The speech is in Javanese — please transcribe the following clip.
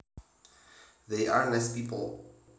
They are nice people